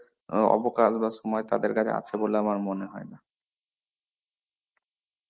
আ অবকাশ বা সময় তাদের কাছে আছে বলে আমার মনেহয় না.